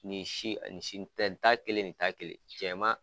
Ni si a ni si n tɛ ta kelen nin ta kelen, cɛ ma